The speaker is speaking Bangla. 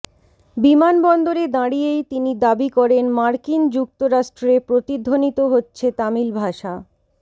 বিমান বন্দরে দাঁড়িয়েই তিনি দাবি করেন মার্কিন যুক্তরাষ্ট্রে প্রতিধ্বনিত হচ্ছে তামিল ভাষা